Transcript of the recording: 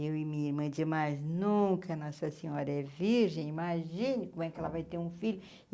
Eu e minha irmã dizia mais nunca, Nossa Senhora, é virgem, imagine como é que ela vai ter um filho.